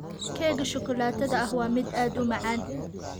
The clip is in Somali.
Keega shukulaatada ahi waa mid aad u macaan.